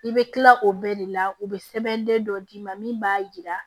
I bɛ tila o bɛɛ de la u bɛ sɛbɛnden dɔ d'i ma min b'a jira